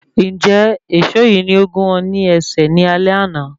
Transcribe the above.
Njẹ èsó yìí ni o gún ọ ní ẹsẹ̀ ní alé àna?